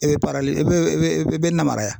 I bɛ i bɛ na maraya.